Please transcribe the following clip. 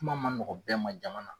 Kuma ma nɔgɔ bɛɛ ma jama na.